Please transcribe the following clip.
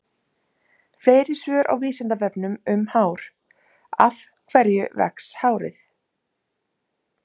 Fleiri svör á Vísindavefnum um hár: Af hverju vex hárið?